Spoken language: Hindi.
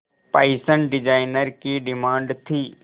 फैशन डिजाइनर की डिमांड थी